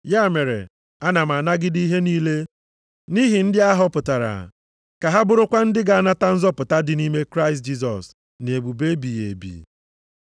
Ya mere, ana m anagide ihe niile nʼihi ndị a họpụtara, ka ha bụrụkwa ndị ga-anata nzọpụta dị nʼime Kraịst Jisọs, na ebube ebighị ebi.